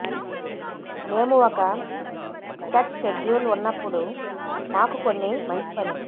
మేము ఒక set schedule ఉన్నప్పుడు మాకు కొన్ని మంచి పని